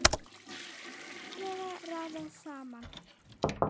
Laglega raðað saman!